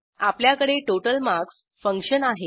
आपल्याकडे total marks function आहे